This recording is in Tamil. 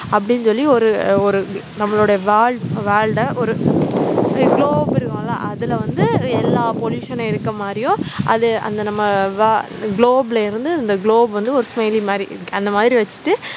அப்படின்னு சொல்லி ஒரு ஒரு நம்மளோட world world அ ஒரு globe இருக்கும் இல்ல அதுல வந்து அது எல்லா pollution னும் இருக்க மாரியும் அது அந்த நம்ம wo globe ல இருந்து இந்த globe வந்து ஒரு smiley மாதிரி அந்த மாதிரி வெச்சிட்டு